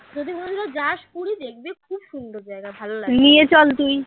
তো যাস পুরি দেখবি খুব সুন্দর জায়গা ভালো লাগবে